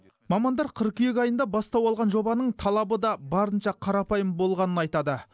мамандар қыркүйек айында бастау алған жобаның талабы да барынша қарапайым болғанын айтады